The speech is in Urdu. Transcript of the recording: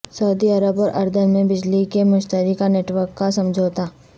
سعودی عرب اور اردن میں بجلی کے مشترکہ نیٹ ورک کا سمجھوتہ